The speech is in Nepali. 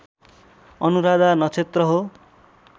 अनुराधा नक्षत्र हो